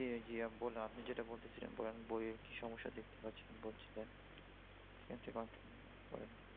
জি জি বলুন আপনি যেটা বলতেছিলেন। বইয়ের কি সমস্যা দেখতে পাচ্ছেন বলছিলেন। সেখান থেকে continue করেন।